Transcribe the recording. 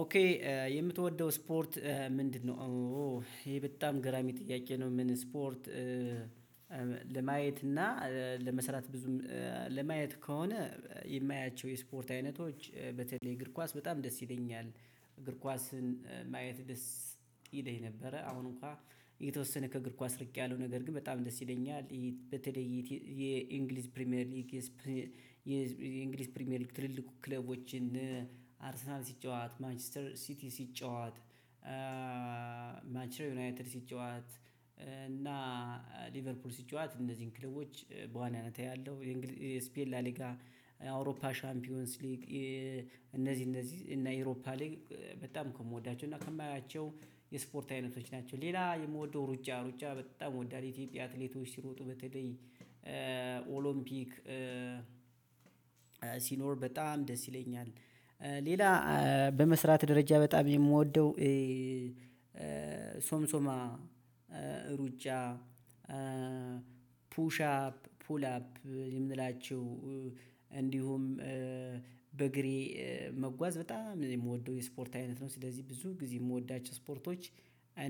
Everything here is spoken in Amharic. ኦኬ የምትወደው ስፖርት ምንድነው? ይሄ በጣም ገራሚ ጥያቄ ነው። ምን ስፖርት? ለማየት እና ለመስራት ብዙም ለማየት ከሆነ የማያቸው የስፖርት አይነቶች በተለይ እግር ኳስ በጣም ደስ ይለኛል። እግር ኳስን ማየት ደስ ይለኝ ነበረ አሁን እንኳን የተወሰነ ከእግር ኳስ እርቂያለሁ። ነገር ግን በጣም ደስ ይለኛል። በተለይ የእንግሊዝ ፕሪሚየር ሊግ የእንግሊዝ ፕሪሚየር ሊግ ትልልቅ ክለቦችን አርሰናል ሲጫወት ማንችስተር ሲቲ ሲጫወት ማንችስተር ዩናይትድ ሲጫወት እና ሊቨርፑል ሲጫወት እነዚህን ክለቦች በዋናነት አያለሁ። የእንግሊዝ ስፔን ላሊጋ የአውሮፓ ሻምፒዮንስ ሊግ እነዚህ እነዚህ እና የአውሮፓ ሊግ በጣም ከምወዳቸው እና ከማያቸው የስፖርት አይነቶች ናቸው። ሌላ የምወደው ሩጫ ሩጫ በጣም እወዳለሁ። ኢትዮጵያ አትሌቶች ሲሮጡ በተለይ ኦሎምፒክ ሲኖር በጣም ደስ ይለኛል። ሌላ በመስራት ደረጃ በጣም የምወደው ሶምሶማ ሩጫ ፑሻፕ ፑል አፕ የምንላቸው እንዲሁም በእግሬ መጓዝ በጣም የምወደው የስፖርት አይነት ነው። ስለዚህ ብዙ ጊዜ የምወዳቸው ስፖርቶች